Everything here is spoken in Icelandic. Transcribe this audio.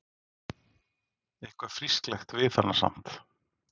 Eitthvað frísklegt við hana samt.